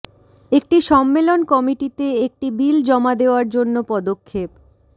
একটি সম্মেলন কমিটিতে একটি বিল জমা দেওয়ার জন্য পদক্ষেপ